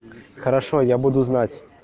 хорошо я буду знать